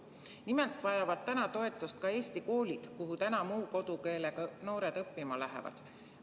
Nimelt vajavad toetust ka eesti koolid, kuhu muu kodukeelega noored õppima lähevad.